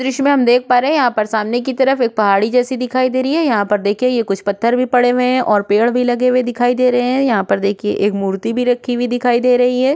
द्र्श्य में हम देख पा रहे हे यहाँ पर सामने की तरफ एक पहाड़ी जेसी दिखाई दे रही है यहाँ पर देखिए ये कुछ पत्थर भी पड़े हुए है ओर पेड़ भी लगे हुए दिखाई दे रहे हे यहाँ पर देखिये एक मूर्ति भी रखी हुई दिखाई दे रही है।